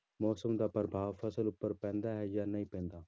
ਮੌਸਮ ਦਾ ਪ੍ਰਭਾਵ ਫ਼ਸਲ ਉੱਪਰ ਪੈਂਦਾ ਹੈ ਜਾਂ ਨਹੀਂ ਪੈਂਦਾ।